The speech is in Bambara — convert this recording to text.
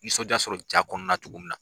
Nisɔndiya sɔrɔ ja kɔnɔna na cogo min na.